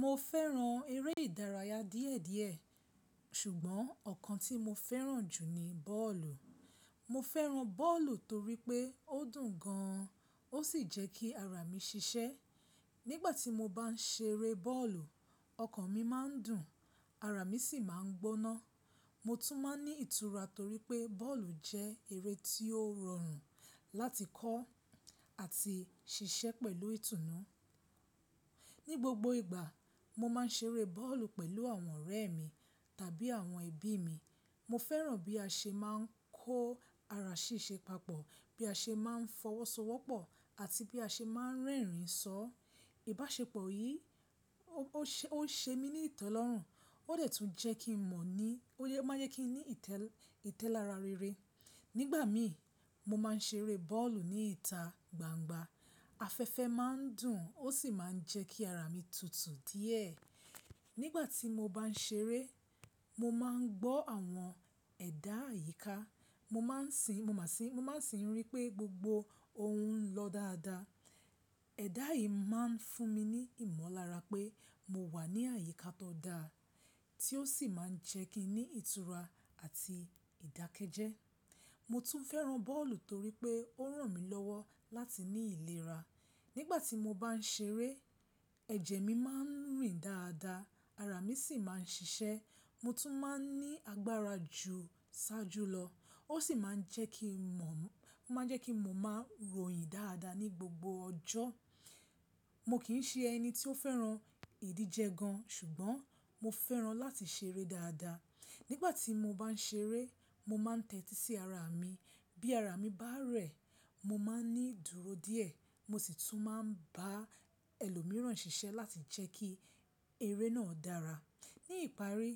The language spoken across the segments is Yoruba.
Mo fẹ́ran eré ìdárayá díẹ̀díẹ̀, ṣùgbọ́n ọ̀kan tí mo fẹ́ran jù ni bọ́ọ̀lù. Mo fẹ́ran bọ́ọ̀lù torí pé ó dùn gan an, ó sì jẹ́ kí ara mi ṣiṣẹ́. Nígbà tí mo bá ń ṣeré bọ́ọ̀lù, ọkàn mi máa ń dùn, ara mi sì máa ń gbóná. Mo tún máa ń ní ìtura torí pé bọ́ọ̀lù jẹ́ eré tí ó rọrùn láti kọ́ àti ṣiṣẹ́ pẹ̀lú ìtùnú. Ní gbogbo ìgbà, mo máa ń ṣeré bọ́ọ̀lù pẹ̀lú àwọn ọ̀rẹ́ mi tàbí àwọn ẹbí mi. Mo fẹ́ran bí a ṣe máa ń kó ara ṣíṣe papọ̀, bí a ṣe máa ń fọwọ́sowọ́pọ̀ àti bí a ṣe máa ń rẹ́rìn-ín sọ. Ìbáṣepọ̀ yìí, ó ń ṣe mí ní ìtọ́lọ́rùn, ó dẹ̀ tún jẹ́ kí n mọ̀ ní, ó máa jẹ́ kí n ní ìtẹ́lára rere. Nígbà mi, mo máa ń ṣeré bọ́ọ̀lù ní ìta gbangba. Afẹ́fẹ́ máa ń dùn, ó sì máa ń jẹ́ kí ara mi tutù díẹ̀. Nígbà tí mo bá ń ṣeré, mo máa ń gbọ́ àwọn ẹ̀dá àyíká, mo máa sì ń rí i pé gbogbo ohun ń lọ dáadáa. Ẹ̀dà yìí máa ń fún mi ní ìmọ̀lára pé mo wà ní àyíká tó dáa, tí ó sì máa ń jẹ́ kí n ní ìtura àti ìdákẹ́jẹ́. Mo tún fẹ́ran bọ́ọ̀lù torí pé ó ràn mí lọ́wọ́ láti ní ìlera. Nígbà tí mo bá n ṣeré, ẹ̀jẹ̀ mi máa ń rìn dáadáa, ara mi sì máa ń ṣiṣẹ́. Mo tún máa ń ní agbára ju iṣáájú lọ, ó sì máa ń jẹ́ kí ń mọ̀, o máa ń jẹ́ kí mo máa ròyìn dáadáa ní gbogbo ọjọ́. Mo kì ń ṣe ẹni tí ó fẹ́ran ìdíje gan an, ṣùgbọ́n mo fẹ́ran láti ṣeré dáadáa. Nígbà tí mo bá n ṣeré, mo máa ń tẹ́tí sí ara mi. Bí ara mi bá rẹ̀, mo máa ń ní ìdúró díẹ̀, mo sì tún máa ń bá ẹlòmíràn ṣiṣẹ́ láti jẹ́ kí eré náà dára. Ní ìparí,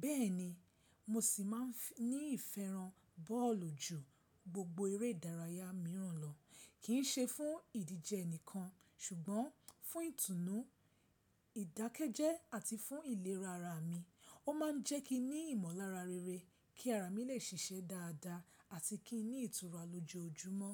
bẹ́ẹ̀ ni, mo sì máa ń ní ìfẹ́ran bọ́ọ̀lù jù gbogbo eré ìdárayá mìíràn lọ. Kì í ṣe fún ìdíje nìkan, ṣùgbọ́n fún ìtùnú, ìdákẹ́jẹ́ àti fún ìlera ara mi. Ó máa ń jẹ́ kí n ní ìmọ̀lára rere kí ara mi lè ṣiṣẹ́ dáadáa àti kí n ní ìtura lójoojúmọ́.